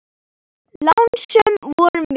Lánsöm vorum við.